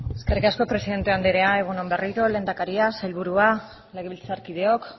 eskerrik asko presidente andrea egun on berriro lehendakaria sailburua legebiltzarkideok